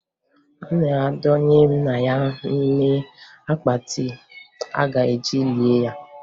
A na-adọnye nna ya n'ime akpatị a ga-eji lie ya.